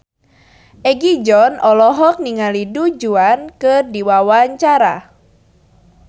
Egi John olohok ningali Du Juan keur diwawancara